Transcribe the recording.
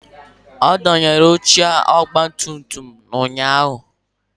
A dọwara oche ọgbatumtum m ụnyahụ